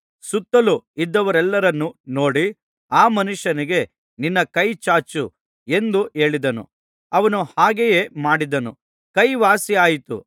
ಸುತ್ತಲೂ ಇದ್ದವರೆಲ್ಲರನ್ನೂ ನೋಡಿ ಆ ಮನುಷ್ಯನಿಗೆ ನಿನ್ನ ಕೈಚಾಚು ಎಂದು ಹೇಳಿದನು ಅವನು ಹಾಗೆಯೇ ಮಾಡಿದನು ಕೈ ವಾಸಿಯಾಯಿತು